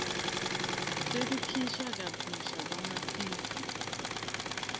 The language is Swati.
sekukhishwa kabusha kwamatisi